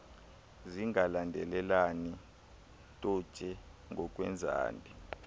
zingalandelelani totse ngokwezandi